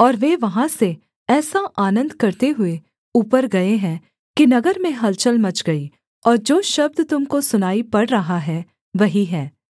और वे वहाँ से ऐसा आनन्द करते हुए ऊपर गए हैं कि नगर में हलचल मच गई और जो शब्द तुम को सुनाई पड़ रहा है वही है